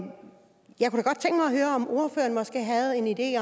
høre om ordføreren måske havde en idé